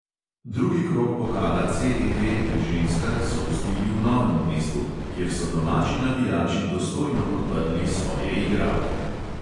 Drugi krog pokala CEV pri ženskah so gostili v novem mestu, kjer so domači navijači dostojno podprli svoje igralke.